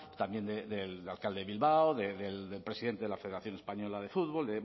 también del alcalde de bilbao del presidente de la federación española de fútbol